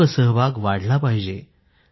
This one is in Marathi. लोकसहभाग वाढला पाहिजे